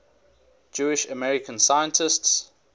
jewish american scientists